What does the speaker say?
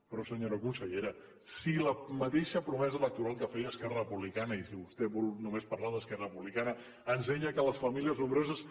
però senyora consellera si la mateixa promesa electoral que feia esquerra republicana i si vostè vol només parlar d’esquerra republicana ens deia que les famílies nombroses